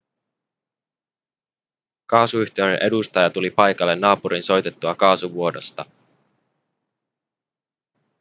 kaasuyhtiön edustaja tuli paikalle naapurin soitettua kaasuvuodosta